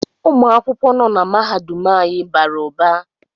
Ụmụ akwụkwọ nọ na mahadum anyị bara ụba